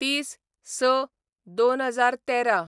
३०/०६/२०१३